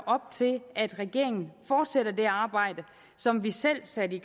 op til at regeringen fortsætter det arbejde som vi selv satte